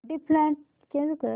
default change कर